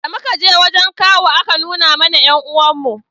da muka je wajen kawu a ka nuna mana 'yan uwan mu